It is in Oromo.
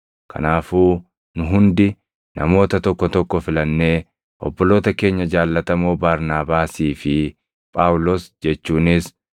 Kanaafuu nu hundi namoota tokko tokko filannee obboloota keenya jaallatamoo Barnaabaasii fi Phaawulos jechuunis